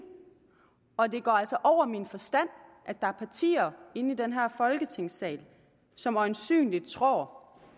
og det går altså over min forstand at der er partier i den her folketingssal som øjensynlig tror